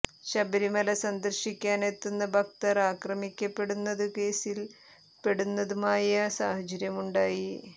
ശബരിമല സന്ദർശിക്കാൻ എത്തുന്ന ഭക്തർ ആക്രമിക്കപ്പെടുന്നതു കേസിൽ പെടുന്നതുമായ സാഹചര്യം ഉണ്ടായി